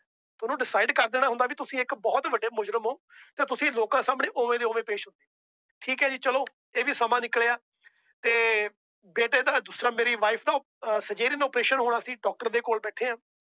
ਉਹਨਾਂ decide ਕਰ ਦੇਣਾ ਹੁੰਦਾ ਏ ਕਿ ਤੁਸੀਂ ਇੱਕ ਬਹੁਤ ਵੱਡੇ ਮੁਜਰਿਮ ਹੋ। ਤਾਂ ਤੁਸੀਂ ਲੋਕਾਂ ਸਾਮਣੇ ਓਵੇ ਦੇ ਓਵੇ ਪੇਸ਼ ਹੋਗੇ ਠੀਕ ਆ ਜੀ ਚਲੋ ਇਹ ਵੀ ਸਮਾਂ ਨਿਕਲਿਆ ਤੇ ਬੇਟੇ ਦਾ ਮੇਰੀ wife ਦਾ cesarean operation ਹੋਣਾ ਸੀ doctor ਦੇ ਕੋਲ ਬੈਠੇ ਆ।